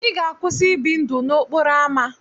Ị ga-akwụsị ị bi ndụ n'okporo ámá.